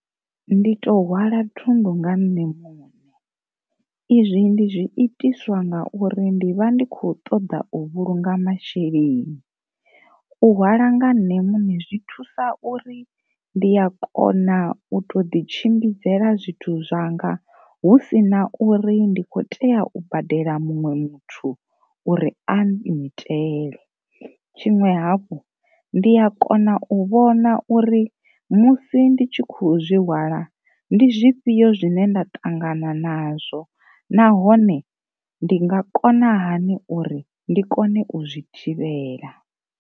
Ndi to hwala thundu nga nṋe muṋe. Izwi ndi zwi itiswa nga uri ndi vha ndi kho ṱoḓa u vhulunga masheleni, u hwala nga nṋe muṋe zwi thusa uri ndi a kona u to ḓi tshimbidzela zwithu zwanga husina uri ndi kho tea u badela muṅwe muthu uri a ngitele, tshiṅwe havhu ndi ya kona u vhona uri musi ndi tshi khou zwi hwala ndi zwifhio zwine nda ṱangana nazwo nahone ndi nga kona hani uri ndi kone u zwi thivhela.